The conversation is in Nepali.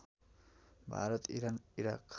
Bharat Iran Iraq